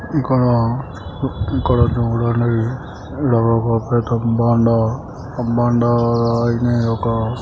ఇక్కడ ఇక్కడ చూడండి ఈడొక పెద్ద బండ ఆ బండరాయిని ఒక--